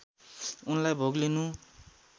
उनलाई भोग लिनु